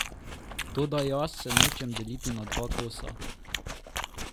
Toda jaz se nočem deliti na dva kosa.